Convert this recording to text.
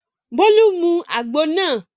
Bólú mu àgbo náà.